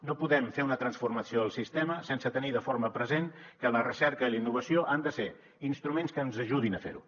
no podem fer una transformació del sistema sense tenir de forma present que la recerca i la innovació han de ser instruments que ens ajudin a fer ho